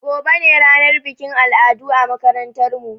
Gobe ne ranar bikin al'adu a makarantar mu